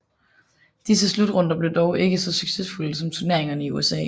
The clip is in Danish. Disse slutrunder blev dog ikke så succesfulde som turneringen i USA